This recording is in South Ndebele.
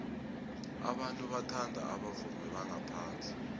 abantu bathanda abavumi bangaphandle